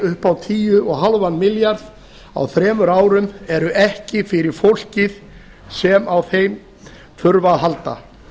upp á tíu og hálfan milljarð á þremur árum eru ekki fyrir fólkið sem á þeim þurfa að halda